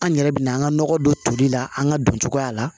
An yɛrɛ bɛna an ka nɔgɔ don toli la an ka don cogoya la